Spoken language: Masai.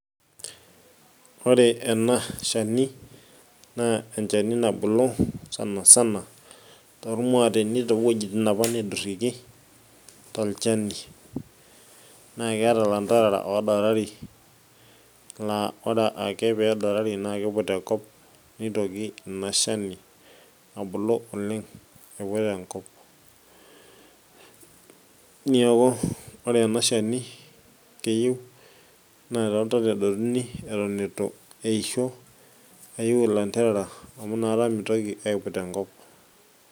ore ena shani naa enchani nabulu sansana, toormuateni too wuejitin apa naidurieki. tolchani, naa keeta lanterera oodarari, naa ore ake pee edarari naa kkiut enkop nitoki ina shani abulu oleng aiput enkop. neeku ore ena shani naa keyieu naa too ntona edotuni eton eitu eitu eisho ayiu ilanterera. amu ina kata mitoki aiput enkop.